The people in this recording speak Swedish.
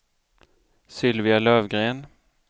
Sylvia Lövgren